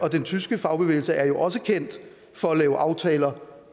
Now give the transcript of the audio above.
og den tyske fagbevægelse er jo også kendt for at lave aftaler